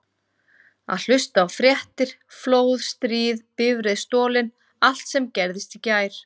Og hlusta á fréttir: flóð, stríð, bifreið stolið allt sem gerðist í gær.